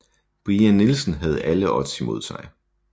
Brian Nielsen havde alle odds imod sig